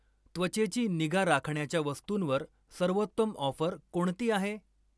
त्वचेची निगा राखण्याच्या वस्तूंवर सर्वोत्तम ऑफर कोणती आहे?